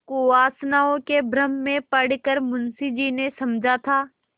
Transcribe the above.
कुवासनाओं के भ्रम में पड़ कर मुंशी जी ने समझा था